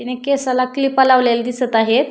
तिने केसाला क्लिपा लावलेल्या दिसत आहेत.